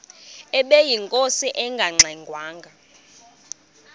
ubeyinkosi engangxe ngwanga